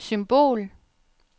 symbol